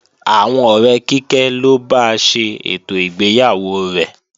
Àwọn ọ̀rẹ́ Kíkẹ́ ló ba ṣe ètò ìgbéyàwó rẹ̀